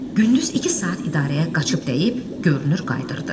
Gündüz iki saat idarəyə qaçıb dəyib, görünür qayıdırdı.